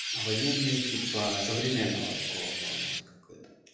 военные типа современного такого плана вот как это